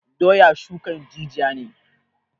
Doya shukan jijiya ne